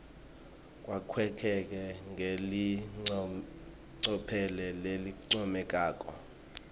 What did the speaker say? kwakheke ngelicophelo lelincomekako